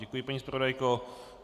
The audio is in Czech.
Děkuji, paní zpravodajko.